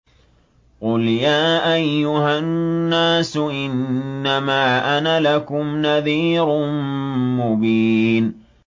قُلْ يَا أَيُّهَا النَّاسُ إِنَّمَا أَنَا لَكُمْ نَذِيرٌ مُّبِينٌ